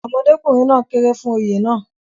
ọmọdékùnrin náà kéré fún Oyè náà